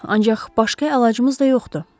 Ancaq başqa əlacımız da yoxdur.